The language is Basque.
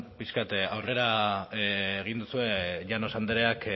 pixka bat aurrera egin duzue llanos andreak